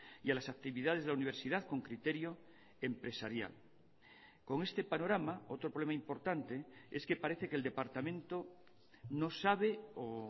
y a las actividades de la universidad con criterio empresarial con este panorama otro problema importante es que parece que el departamento no sabe o